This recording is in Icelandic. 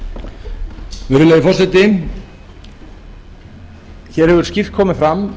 virðulegi forseti hér hafa skýrt komið fram